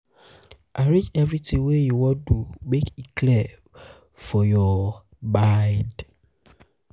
arrange evritin wey you wan do mek e clear um for yur um mind um